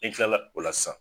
N kilala o la sisan